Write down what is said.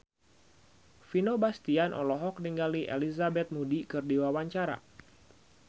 Vino Bastian olohok ningali Elizabeth Moody keur diwawancara